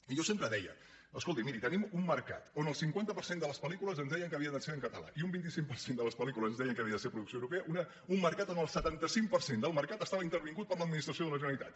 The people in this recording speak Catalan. i jo sempre deia escolti miri tenim un mercat on el cinquanta per cent de les pel·lícules ens deien que havien de ser en català i un vint cinc de les pel·havien de ser de producció europea en un mercat on el setanta cinc per cent del mercat estava intervingut per l’administració de la generalitat